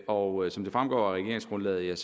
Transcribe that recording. og som det fremgår af regeringsgrundlaget er